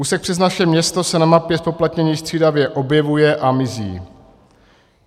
Úsek přes naše město se na mapě zpoplatnění střídavě objevuje a mizí.